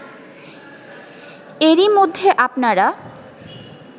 এরই মধ্যে আপনারা